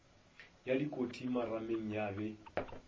ya dikoti marameng ya be